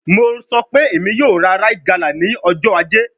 Mo sọ pe Emi yoo ra rite gala ni ọjọ aje